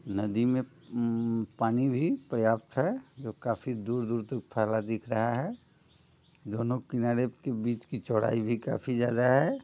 नदी में उम्म पानी भी पर्याप्त हैं जो काफी दूर-दूर तक फैला दिख रहा है दोनों किनारे के बीच की चौड़ाई भी काफी ज्यादा है।